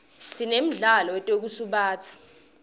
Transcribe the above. sinemdlalo wetekusubatsa